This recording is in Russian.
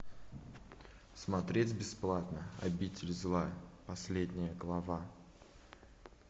смотреть бесплатно обитель зла последняя глава